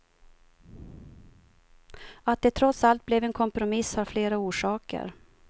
Att det trots allt blev en kompromiss har flera orsaker.